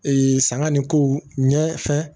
Ee sanga ni ko ɲɛ fɛn